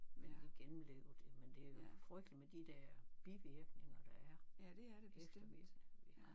Men vi gennemlevede det men det er jo frygteligt med de der bivirkninger der er eftervirkninger